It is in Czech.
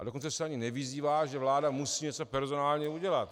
A dokonce se ani nevyzývá, že vláda musí něco personálně udělat.